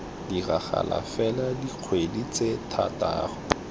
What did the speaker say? diragala fela dikgwedi tse thataro